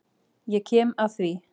Ég kem að því.